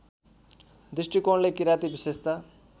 दृष्टिकोणले किराँती विशेषता